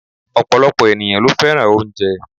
Ọ̀pọ̀lọpọ̀ ènìyàn ló fẹ́ràn oúnjẹ